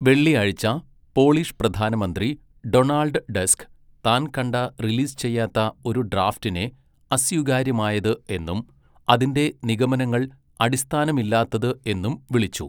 വെള്ളിയാഴ്ച, പോളിഷ് പ്രധാനമന്ത്രി Donald Tusk താൻ കണ്ട റിലീസ് ചെയ്യാത്ത ഒരു ഡ്രാഫ്റ്റിനെ അസ്വീകാര്യമായത് എന്നും അതിന്റെ നിഗമനങ്ങൾ അടിസ്ഥാനമില്ലാത്തത് എന്നും വിളിച്ചു.